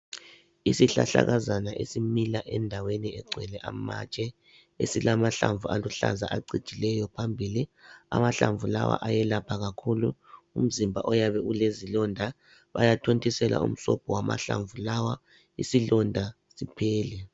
Isihlahlakazana esimila endaweni egcwele amatshe esilamahlamvu aluhlaza acijileyo phambili amahlamvu, lawa ayelapha kakhulu umzimba oyabe ulezilonda bayathontisela umsobho wamahlambu lawa isilonda siphele.